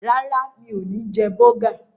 Rárá, mi ò ní jẹ bọ́gà.